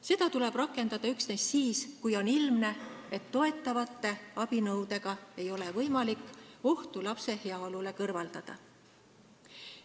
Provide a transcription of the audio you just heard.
Seda tuleb rakendada üksnes siis, kui on ilmne, et toetavate abinõudega ei ole võimalik ohtu lapse heaolule kõrvaldada.